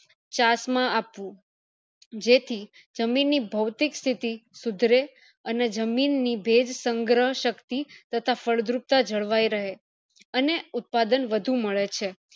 ચાસ માં આપવું જેથી જમીન ની ભૌતિક સ્થિતિ સુધરે અને જમીન ની ભેજ સંગ્રહ શક્તિ તથા ફળદ્રુપતા જળવાય રહે અને ઉત્પાદન વધુ મળે છે